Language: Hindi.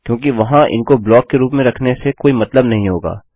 क्योंकि वहाँ इनको ब्लॉक के रूप में रखने से कोई मतलब नहीं होगा